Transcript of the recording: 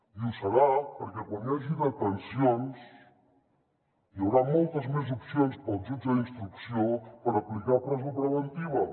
i ho serà perquè quan hi hagi detencions hi haurà moltes més opcions per al jutge d’instrucció per aplicar presó preventiva